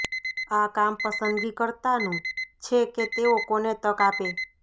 આ કામ પસંદગીકર્તાનું છે કે તેઓ કોને તક આપે